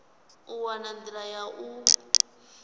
u wana nḓila ya u